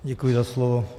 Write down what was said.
Děkuji za slovo.